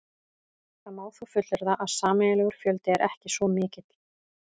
Það má þó fullyrða að eiginlegur fjöldi er ekki svo mikill.